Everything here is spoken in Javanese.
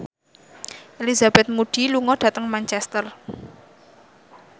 Elizabeth Moody lunga dhateng Manchester